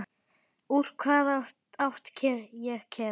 Úr hvaða átt ég kem.